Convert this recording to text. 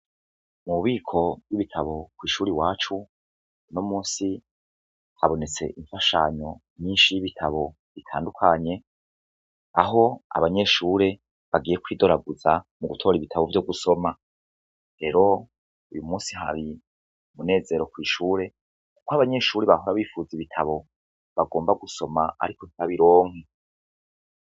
Mu bubiko bw'ibitabo kw'ishure iwacu, uno musi habonetse imfashanyo nyishi y'ibitabo bitandukanye, aho abanyeshure bagiye kwidoraguza mu gutora ibitabo vyo gusoma. Rero uyu musi hari umunezero kw'ishure kw'abanyeshure bahora bifuza ibitabo bagomba gusoma ariko ntibabironke.